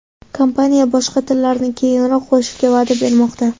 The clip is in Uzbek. Kompaniya boshqa tillarni keyinroq qo‘shishga va’da bermoqda.